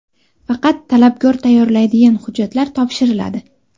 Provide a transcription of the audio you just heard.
Faqat talabgor tayyorlaydigan hujjatlar topshiriladi.